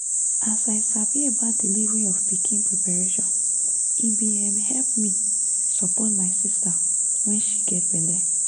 as i sabi about delivery of pikin preparation e bin um help me support my sister when she get belle